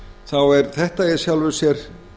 þá er þetta í sjálfu sér